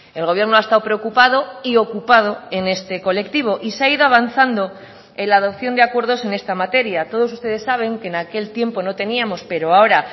el gobierno ha estado preocupado y ocupado en este colectivo y se ha ido avanzando en la adopción de acuerdos en esta materia todos ustedes saben que en aquel tiempo no teníamos pero ahora